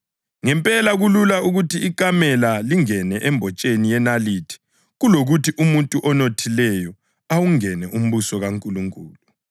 Ngempela kulula ukuthi ikamela lingene embotsheni yenalithi kulokuthi umuntu onothileyo awungene umbuso kaNkulunkulu.”